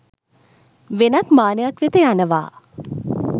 වෙනත් මානයක් වෙත යනවා.